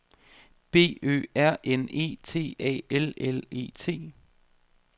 B Ø R N E T A L L E T